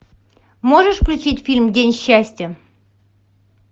можешь включить фильм день счастья